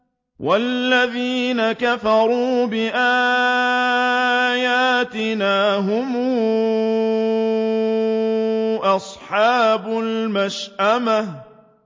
وَالَّذِينَ كَفَرُوا بِآيَاتِنَا هُمْ أَصْحَابُ الْمَشْأَمَةِ